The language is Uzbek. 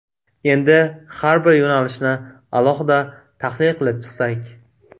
Endi har bir yo‘nalishni alohida tahlil qilib chiqsak.